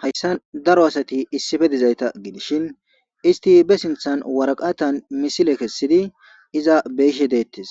Hayssa daro asati issife dizayta gidishin isti be sinthan waraqatan misile kessidi iza beishe deettes